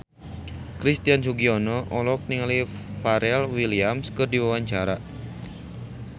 Christian Sugiono olohok ningali Pharrell Williams keur diwawancara